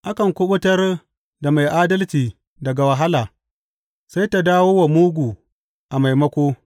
Akan kuɓutar da mai adalci daga wahala, sai ta dawo wa mugu a maimako.